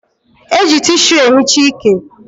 E ji tishu e hichaa ike